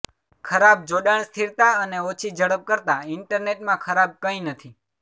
ખરાબ જોડાણ સ્થિરતા અને ઓછી ઝડપ કરતાં ઈન્ટરનેટ માં ખરાબ કંઈ નથી